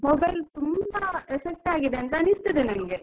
Mobile ತುಂಬಾ effect ಆಗಿದೆ ಅನಿಸ್ತದೆ ನಂಗೆ.